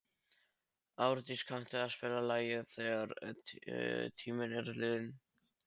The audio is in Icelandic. Árdís, kanntu að spila lagið „Þegar tíminn er liðinn“?